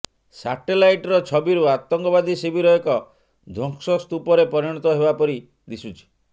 ସାଟେଲାଇଟ୍ର ଛବିରୁ ଆତଙ୍କବାଦୀ ଶିବିର ଏକ ଧ୍ୱଂସ ସ୍ତୁପରେ ପରିଣତ ହେବାପରି ଦିଶୁଛି